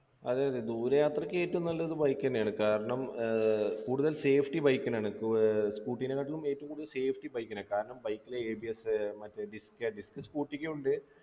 അതെ അതെ ദൂരെയാത്രക്ക് ഏറ്റവും നല്ലത് bike തന്നെയാണ് കാരണം ഏർ കൂടുതൽ safety bike ലാണ് ഏർ scooter കാട്ടിലും ഏറ്റവും കൂടുതൽ safety bike നാ കാരണം bike ന് ABS മറ്റേ disc disc scooter ക്കും ഉണ്ട്